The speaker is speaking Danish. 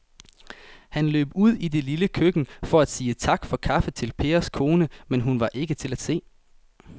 Han løb ud i det lille køkken for at sige tak for kaffe til Pers kone, men hun var ikke til at se.